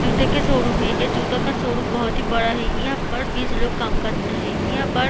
जूते के शोरूम है ए जूता का शोरूम बहुत ही बड़ा है यहाँ पर बीस लोग काम करता है। यहाँ पर--